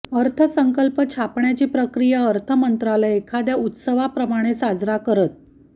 अर्थसंकल्प छापण्याची प्रक्रिया अर्थ मंत्रालय एखाद्या उत्सवाप्रमाणे साजरा करत